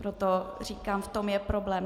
Proto říkám, v tom je problém.